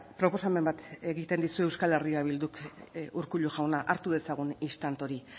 proposamen bat egiten dizu euskal herri bilduk urkullu jauna hartu dezagun instant hori